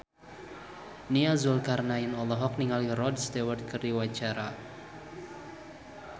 Nia Zulkarnaen olohok ningali Rod Stewart keur diwawancara